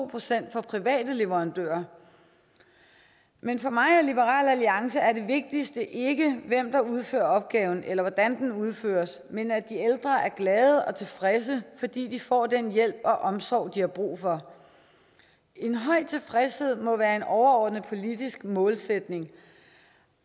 procent for private leverandører men for mig og liberal alliance er det vigtigste ikke hvem der udfører opgaven eller hvordan den udføres men at de ældre er glade og tilfredse fordi de får den hjælp og omsorg de har brug for en høj tilfredshed må være en overordnet politisk målsætning